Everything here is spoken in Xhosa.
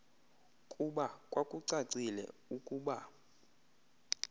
kuba kwakucacile ukuba